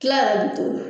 Kila yɛrɛ bi to yen